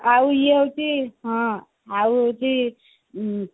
ଆଉ ଇଏ ହଉଛି ହଁ ଆଉ ହଉଛି ଉଁ